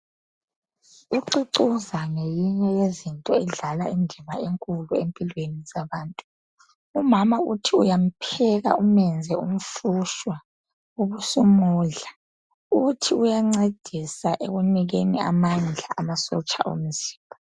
Ucucuza neyinye yemithi yesintu edlala indima enkulu empilweni zabantu . Umama uthi uyampheka umenze umfushwa ubusumudlq, uthi uyancedisa ekunikeni amandla amasotsha omzimba.